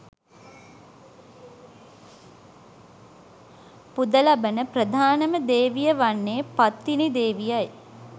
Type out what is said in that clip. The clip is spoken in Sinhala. පුද ලබන ප්‍රධානම දේවිය වන්නේ පත්තිනි දේවියයි.